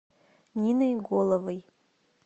ниной головой